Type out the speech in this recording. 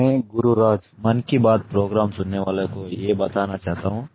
मैं P Gururaj Mann Ki Baat programme सुनने वालों को ये बताना चाहता हूँ